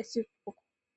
esiku.